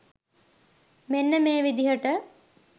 මෙන්න මේ විදිහට